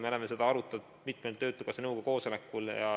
Me oleme seda arutanud mitmel töötukassa nõukogu koosolekul.